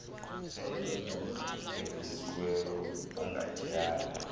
senkunkuma evelisiweyo ungatyala